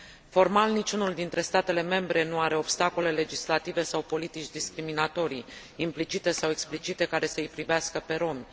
Formal, niciunul dintre statele membre nu are obstacole legislative sau politici discriminatorii, implicite sau explicite, care să îi privească pe rromi.